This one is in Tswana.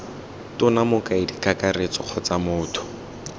tona mokaedi kakaretso kgotsa motho